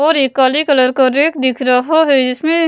और ये काले कलर का रैक दिख रहा है इसमें --